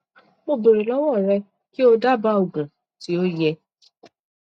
mo béèrè lọwọ rẹ kí o dábàá òògùn tí ó yẹ